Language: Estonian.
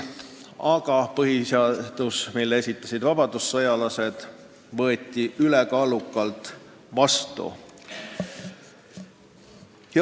Aga põhiseadus, mille esitasid vabadussõjalased, võeti ülekaaluka heakskiiduga vastu.